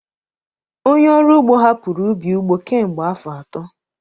Onye ọrụ ugbo hapụrụ ubi ugbo kemgbe afọ atọ